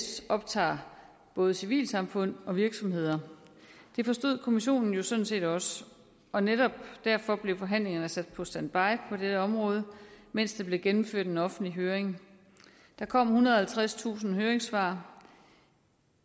optager både civilsamfund og virksomheder det forstod kommissionen jo sådan set også og netop derfor blev forhandlingerne sat på standby på dette område mens der blev gennemført en offentlig høring der kom ethundrede og halvtredstusind høringssvar og